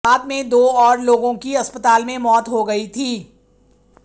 बाद में दो और लोगों की अस्पताल में मौत हो गई थी